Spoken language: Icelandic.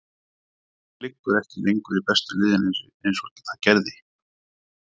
Þetta liggur ekki lengur í bestu liðin eins og það gerði.